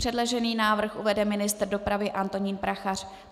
Předložený návrh uvede ministr dopravy Antonín Prachař.